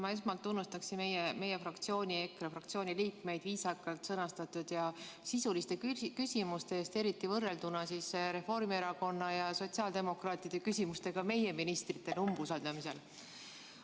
Ma esmalt tunnustan meie, EKRE fraktsiooni liikmeid viisakalt sõnastatud ja sisuliste küsimuste eest, eriti võrrelduna Reformierakonna ja sotsiaaldemokraatide küsimustega meie ministrite umbusaldamisel.